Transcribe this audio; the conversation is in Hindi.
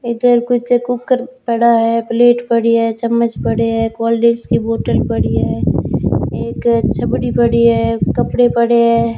इधर कुछ कुकर पड़ा है प्लेट पड़ी है चम्मच पड़े है कोल्ड ड्रिंक्स की बोटल पड़ी है एक छबड़ी पड़ी है कपड़े पड़े है।